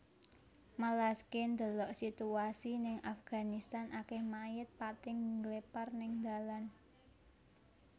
Melaske ndelok situasi ning Afganistan akeh mayit pating ngglepar ning ndalan